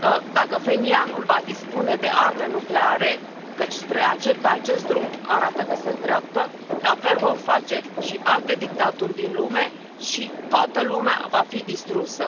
Dacă Phenianul va dispune de arme nucleare, căci pe acest drum arată că se îndreaptă, la fel vor face și alte dictaturi din lume și toată lumea va fi distrusă.